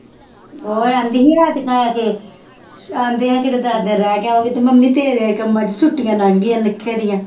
ਉਹ ਕਹਿੰਦੀ ਸੀ ਅੱਜ ਕੇ, ਆਉਂਦਿਆ ਕਿਤੇ ਦਸ ਦਿਨ ਰਹਿ ਕੇ ਆਊਂਗੀ, ਮੰਮੀ ਤੇਰੇ ਕੰਮਾਂ ਚ ਛੁੱਟੀਆਂ ਲੰਘ ਗਈਆਂ ਨਿੱਕੇ ਦੀਆਂ